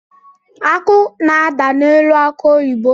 Akụ na-ada n’elu akụ oyibo